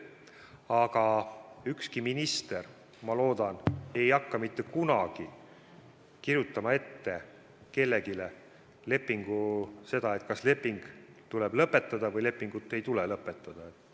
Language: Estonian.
Aga ükski minister, ma loodan, ei hakka mitte kunagi kirjutama kellelegi ette, kas leping tuleb lõpetada või lepingut ei tule lõpetada.